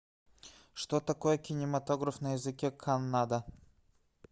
что такое кинематограф на языке каннада